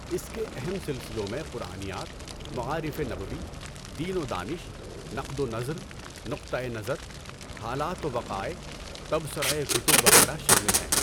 اس کے اہم سلسلوں میں قرآنیات، مَعارِفِ نبوی، دین و دانش، نقد و نظر، نقطۂ نظر، حالات و وقائع، تبصرۂ کتب وغیرہ شامل ہیں۔